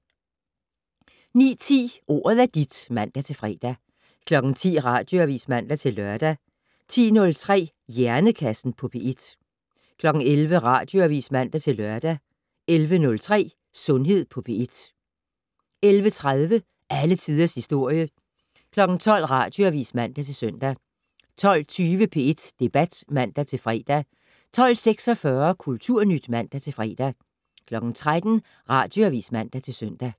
09:10: Ordet er dit (man-fre) 10:00: Radioavis (man-lør) 10:03: Hjernekassen på P1 11:00: Radioavis (man-lør) 11:03: Sundhed på P1 11:30: Alle tiders historie 12:00: Radioavis (man-søn) 12:20: P1 Debat (man-fre) 12:46: Kulturnyt (man-fre) 13:00: Radioavis (man-søn)